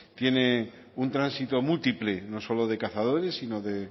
tiene un tránsito múltiple no solo de cazadores sino de